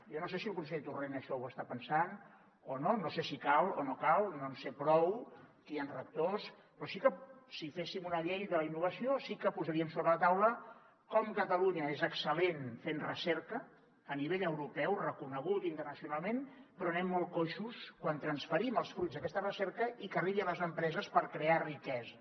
jo no sé si el conseller torrent això ho està pensant o no no sé si cal o no cal no en sé prou aquí hi han rectors però si féssim una llei de la innovació sí que posaríem sobre la taula com catalunya és excel·lent fent recerca a nivell europeu reconegut internacionalment però anem molt coixos quan transferim els fruits d’aquesta recerca i que arribi a les empreses per crear riquesa